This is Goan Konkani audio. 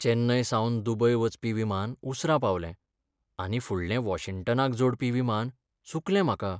चेन्नयसावन दुबय वचपी विमान उसरा पावलें, आनी फुडलें वॉशिंग्टनाक जोडपी विमान चुकलें म्हाका.